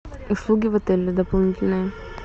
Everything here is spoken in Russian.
услуги в отеле дополнительные